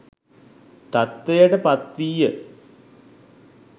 තත්ත්වයට පත්වීය.